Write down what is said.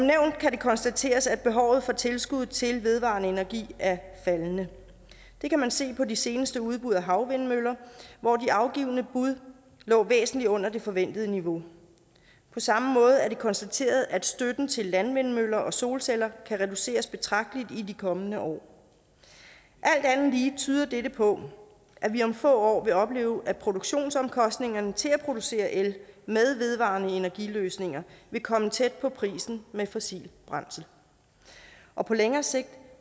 kan det konstateres at behovet for tilskud til vedvarende energi er faldende det kan man se på de seneste udbud af havvindmøller hvor de afgivne bud lå væsentlig under det forventede niveau på samme måde er det konstateret at støtten til landvindmøller og solceller kan reduceres betragteligt i de kommende år alt andet lige tyder dette på at vi om få år vil opleve at produktionsomkostningerne til at producere el med vedvarende energi løsninger vil komme tæt på prisen ved brug af fossilt brændsel og på længere sigt